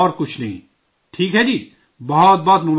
ٹھیک ہے جی، بہت بہت مبارکباد آپ کو